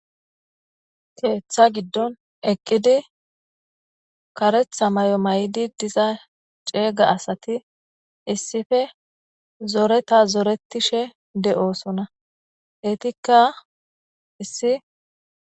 keeththa giddon eqqidi karetha may7o may7di diza ceega asati issife zoreta zoretishe de7oosona etikka issi